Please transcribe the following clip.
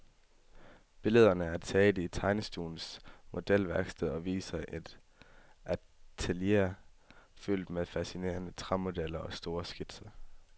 Billederne er taget i tegnestuens modelværksted og viser et atelier fyldt med fascinerende træmodeller og store skitser.